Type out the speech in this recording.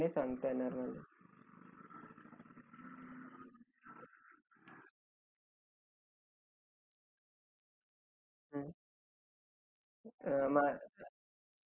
okay uh okay sir मग मी तुम्हाला एक म्हणजे तुमच्या एकंदरीत बोलण्या वरुन दिसत आहे कि तुम्हाला नकोच आहे तो फ्रिज